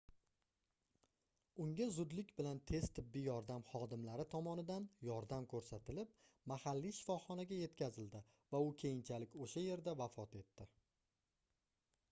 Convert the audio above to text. unga zudlik bilan tez tibbiy yordam xodimlari tomonidan yordam koʻrsatlib mahalliy shifoxonaga yetkazildi va u keyinchalik oʻsha yerda vafot etdi